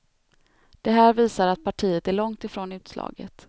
Det här visar att partiet är långt ifrån utslaget.